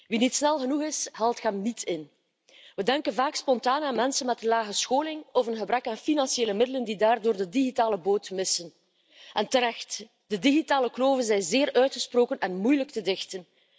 Wie niet snel genoeg is, haalt hem niet in. We denken vaak spontaan aan mensen met lage scholing of een gebrek aan financiële middelen die daardoor de digitale boot missen, en terecht de digitale kloven zijn zeer uitgesproken en moeilijk te dichten.